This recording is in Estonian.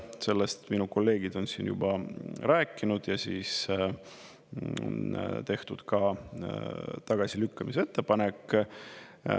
Sellest minu kolleegid on siin juba rääkinud ja on tehtud ka tagasilükkamise ettepanek.